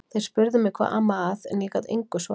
Þeir spurðu mig hvað amaði að en ég gat engu svarað.